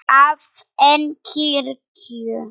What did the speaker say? að en kirkju.